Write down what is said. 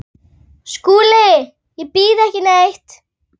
SKÚLI: Ég býð ekki neitt.